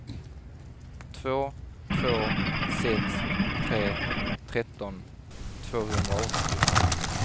två två sex tre tretton tvåhundraåttio